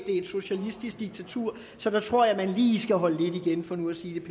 et socialistisk diktatur så der tror jeg at man lige skal holde lidt igen for nu at sige